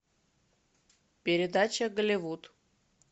передача голливуд